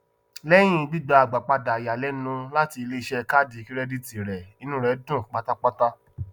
lẹyìn gbígbà agbápadà ìyàlẹnu láti iléiṣẹ kàádì kìrẹdítì rẹ inú rẹ dùn pátápátá